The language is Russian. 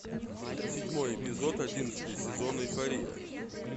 седьмой эпизод одиннадцатый сезон эйфория